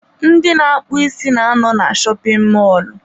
Ndị na-akpụ isi n'ano na shopin mọlụ.